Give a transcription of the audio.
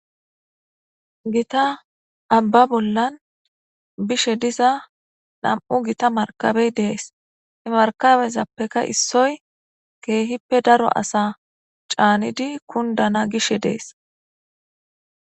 Gita amba bolan bishe diza nam'u gita markabe des he markabezapeka issoy keehipe daro asa caanidi kundana hanana gishe de'es.